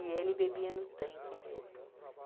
E ele bebia no tanque mesmo.